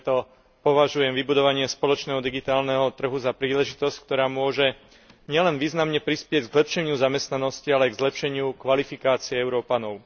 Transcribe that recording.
Preto považujem vybudovanie spoločného digitálneho trhu za príležitosť, ktorá môže nielen významne prispieť k zlepšeniu zamestnanosti, ale aj k zlepšeniu kvalifikácie Európanov.